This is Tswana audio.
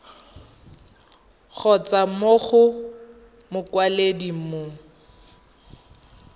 kgotsa mo go mokwaledi mo